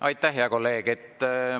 Aitäh, hea kolleeg!